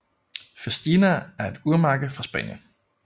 Festina er et urmærke fra Spanien